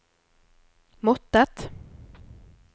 måttet